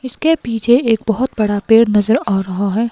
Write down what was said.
इसके पीछे एक बहोत बड़ा पेड़ नजर आ रहा है।